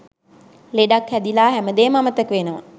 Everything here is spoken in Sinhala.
ලෙඩක් හැදිලා හැමදේම අමතක වෙනවා.